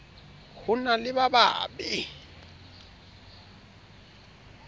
ho na le ba babe